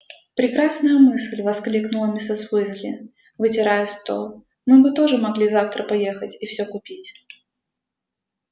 прекрасная мысль воскликнула миссис уизли вытирая стол мы бы тоже могли завтра поехать и все купить